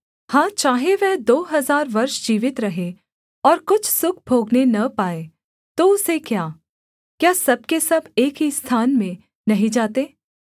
हाँ चाहे वह दो हजार वर्ष जीवित रहे और कुछ सुख भोगने न पाए तो उसे क्या क्या सब के सब एक ही स्थान में नहीं जाते